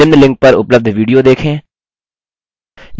निम्न link पर उपलब्ध video देखें